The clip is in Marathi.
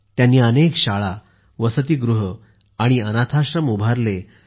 त्यांनी अनेक शाळा वसतिगृहे आणि अनाथाश्रम उभारले